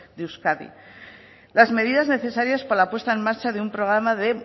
de euskadi las medidas necesarias para la puesta en marcha de un programa de